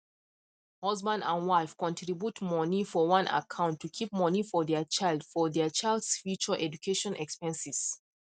husband and wife contribute money for one account to keep money for their childs for their childs future education expenses